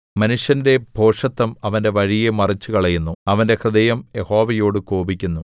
മനുഷ്യന്റെ ഭോഷത്തം അവന്റെ വഴിയെ മറിച്ചുകളയുന്നു അവന്റെ ഹൃദയം യഹോവയോട് കോപിക്കുന്നു